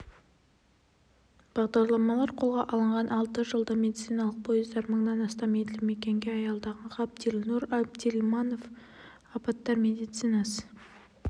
бағдарламалар қолға алынған алты жылда медициналық пойыздар мыңнан астам елді мекенге аялдаған ғабдилнұр әбділманов апаттар медицинасы